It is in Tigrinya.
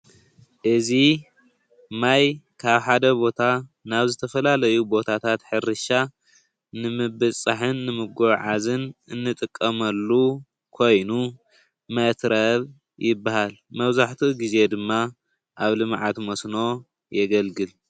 እዙይ ማይ ካብ ሓደ ቦታ ናብ ዝተፈላለየ ቦታታት ሕርሻ ንምብፅፃሕን ንምጉዕዓዝን እንጥቀመሉ ኮይኑ መትረብ ይብሃል። መብዛሕቲኡ ግዜ ድማ ኣብ ልማዓት መስኖ የገልግል።